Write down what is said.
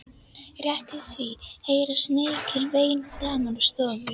Rétt í því heyrast mikil vein framan úr stofu.